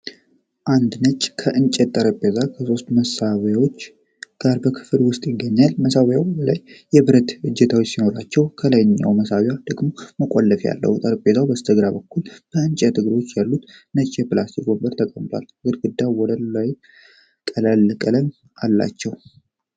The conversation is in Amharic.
አንድ ነጭ የእንጨት ጠረጴዛ ከሶስት መሳቢያዎች ጋር በክፍል ውስጥ ይታያል። ከመሳቢያዎቹ በላይ የብረት እጀታዎች ሲኖሯቸው፣ የላይኛው መሳቢያ ደግሞ መቆለፊያ አለው። ከጠረጴዛው በስተግራ በኩል የእንጨት እግሮች ያሉት ነጭ የፕላስቲክ ወንበር ተቀምጧል፤ ግድግዳውና ወለሉ ቀላል ቀለም አላቸው።